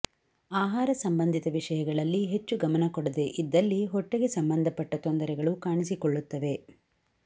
ಆಹಾರ ಸಂಬಂಧಿತ ವಿಷಯಗಳಲ್ಲಿ ಹೆಚ್ಚು ಗಮನ ಕೊಡದೆ ಇದ್ದಲ್ಲಿ ಹೊಟ್ಟೆಗೆ ಸಂಬಂಧಪಟ್ಟ ತೊಂದರೆಗಳು ಕಾಣಿಸಿಕೊಳ್ಳುತ್ತವೆ